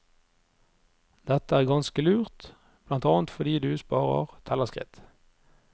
Dette er ganske lurt, blant annet fordi du sparer tellerskritt.